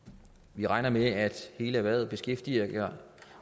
vi regner med at hele erhvervet beskæftiger